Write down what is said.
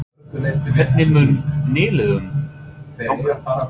Hvernig mun nýliðunum ganga?